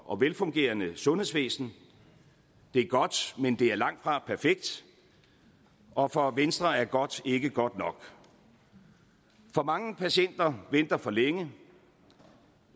og velfungerende sundhedsvæsen det er godt men det er langt fra perfekt og for venstre er godt ikke godt nok for mange patienter venter for længe og